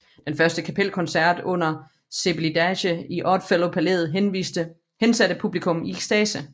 Den første kapelkoncert under Celibidache i Odd Fellow Palæet hensatte publikum i ekstase